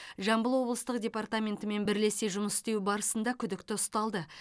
жамбыл облыстық департаментімен бірлесе жұмыс істеу барысында күдікті ұсталды